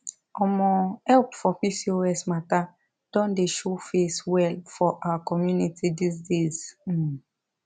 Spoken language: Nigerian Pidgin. omo help for pcos matter don dey show face well for our community these days um